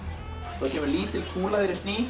það kemur kúla þegar ég sný